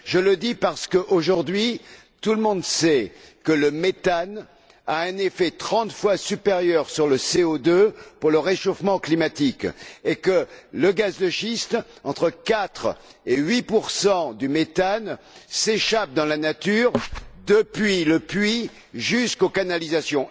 Je le dis parce qu'aujourd'hui, tout le monde sait que le méthane a un effet trente fois supérieur à celui du CO2 sur le réchauffement climatique, et que pour le gaz de schiste, entre quatre et huit pourcents du méthane s'échappent dans la nature depuis le puits jusqu'aux canalisations.